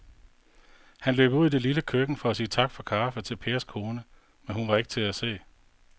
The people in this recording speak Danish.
Han løb ud i det lille køkken for at sige tak for kaffe til Pers kone, men hun var ikke til at se.